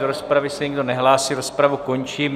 Do rozpravy se nikdo nehlásí, rozpravu končím.